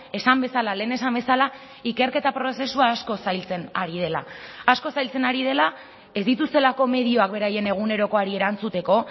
esan bezala lehen esan bezala ikerketa prozesua asko zailtzen ari dela asko zailtzen ari dela ez dituztelako medioak beraien egunerokoari erantzuteko